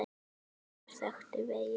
Bækur þöktu veggi.